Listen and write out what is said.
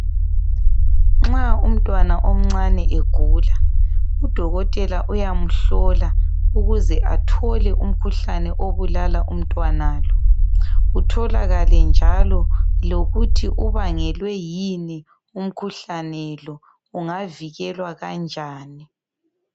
Nxa umntwana omncane egula udokotela uyamhlola ukuze athole umkhuhlane obulala umntwana lo, kutholakale njalo lokuthi ubangelwe yini umkhuhlane lo , ungavikelwa kanjani.